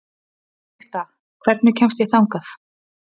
Benedikta, hvernig kemst ég þangað?